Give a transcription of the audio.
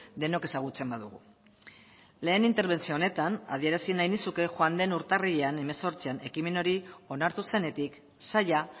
denok ezagutzen badugu lehen interbentzio honetan adierazi nahi nizuke joan den urtarrilean hemezortzian ekimen hori onartu zenetik saila